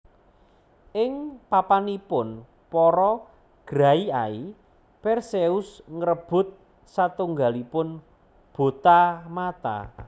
Ing papanipun para Graiai Perseus ngrebut satunggalipun bota mata